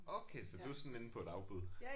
Okay så du er sådan inde på et afbud